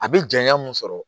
A bi janya mun sɔrɔ